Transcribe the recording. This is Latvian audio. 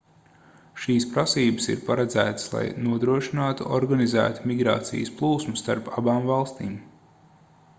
šīs prasības ir paredzētas lai nodrošinātu organizētu migrācijas plūsmu starp abām valstīm